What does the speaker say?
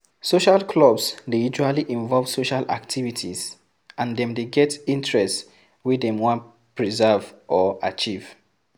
Social clubs dey usually invove social activities and dem dey get interest wey dem wan preserve or achieve